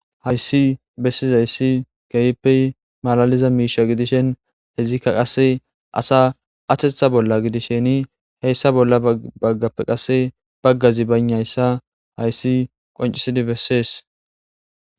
Hayssi bessizayssi keehippe malaliza miishsha gidishin izikka qase asa ateththa bolla gidishinni heyssa bolla baggappe qase baggazi baynayssa hayssi qoncisidi bessees